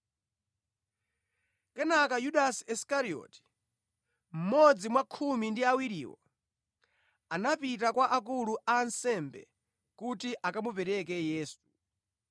Kenaka Yudasi Isikarioti, mmodzi mwa khumi ndi awiriwo, anapita kwa akulu a ansembe kuti akamupereke Yesu.